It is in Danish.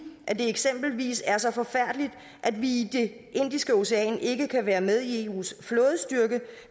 at det eksempelvis er så forfærdeligt at vi i det indiske ocean ikke kan være med i eus flådestyrke